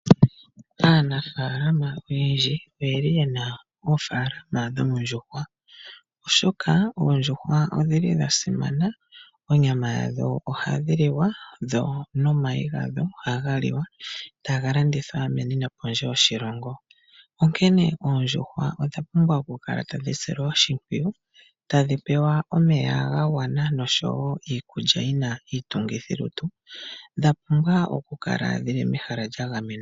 Aanafaalama oyendji oyeli yena ofaalama dhoondjuhwa oshoka oondjuhwa odhili dha simana, onyama ya dho ohayi liwa , dho nomayi gadho ohaga liwa, taga landithwa meni nokondje yoshilongo. Onkene oondjuhwa odha pumbwa oku kala tadhi silwa oshimpwiyu ,tadhi pewa omeya ga gwana nosho woo iikulya yina iitungithi lutu . Dha pumbwa oku kala mehala lya gamenwa .